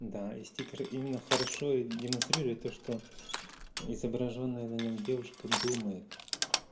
да и стикеры именно хорошо и демонстрирует то что изображённая на нем девушка думает